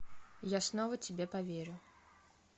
я снова тебе поверю